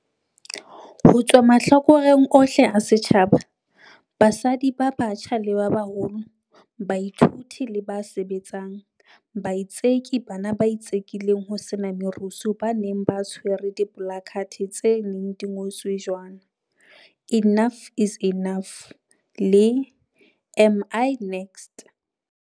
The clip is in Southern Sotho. Ho tswa mahlakoreng ohle a setjhaba, basadi ba batjha le ba baholo, ba baithuti le ba sebetsang, baitseki bana ba itsekileng ho sena merusu ba ne ba tshwere dipolakhathe tse neng di ngotswe jwana 'Enough is Enough ' le 'Am I next?'.